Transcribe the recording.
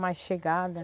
Mais chegada.